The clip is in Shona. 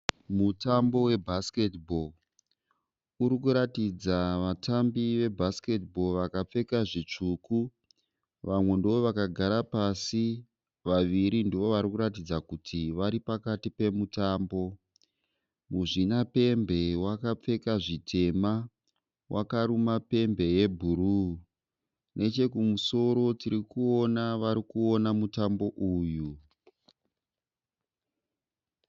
Mutambo webhasiketi bho. Uri kuratidza vatambi vebhasiketi bho vakapfeka zvitsvuku. Vamwe ndovakagara pasi. Vaviri ndoovari kuratidza kuti vari pakati pemutambo. Muzvinapembe wakapfeka zvitema wakaruma pembe yebhuruu. Nechekumusoro tiri kuona vari kuona mutambo uyu.